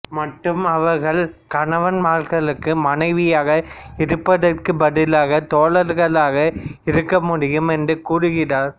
மற்றும் அவர்கள் கணவன்மார்களுக்கு மனைவியாக இருப்பதற்குப் பதிலாக தோழர்களாக இருக்க முடியும் என்று கூறுகிறார்